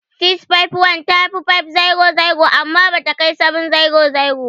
651 ta fi 500 amma bata kai 700.